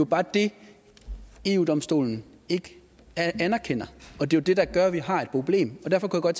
bare det eu domstolen ikke anerkender og det er det der gør at vi har et problem derfor kunne